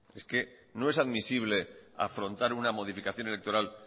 es que no es admisible afrontar una modificación electoral